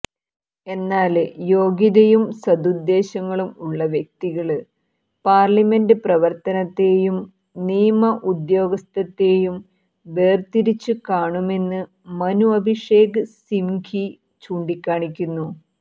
എന്നാല് യോഗ്യതയും സദുദ്ദേശങ്ങളും ഉള്ള വ്യക്തികള് പാര്ലമെന്റ് പ്രവര്ത്തനത്തെയും നിയമ ഉദ്യോഗസ്ഥത്തെയും വേര്ത്തിരിച്ച് കാണുമെന്ന് മനു അഭിഷേക് സിംഘ്വി ചൂണ്ടിക്കാണിക്കുന്നു